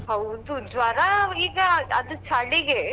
ಹೌದು ಜ್ವರ ಈಗ ಅದ್ ಚಳಿಗೆ.